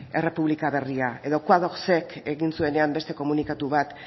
errepublika berria edo egin zuenean beste komunikatu bat